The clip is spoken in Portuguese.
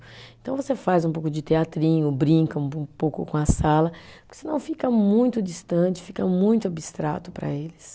Então, você faz um pouco de teatrinho, brinca um po, um pouco com a sala, porque senão fica muito distante, fica muito abstrato para eles.